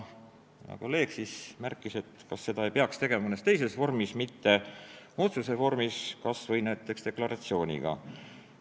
Hea kolleeg küsis, kas seda ei peaks tegema mõnes teises vormis, mitte otsuse vormis, kas või näiteks deklaratsiooniga.